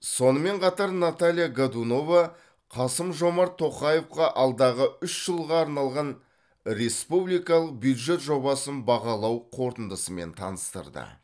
сонымен қатар наталья годунова қасым жомарт тоқаевқа алдағы үш жылға арналған республикалық бюджет жобасын бағалау қорытындысымен таныстырды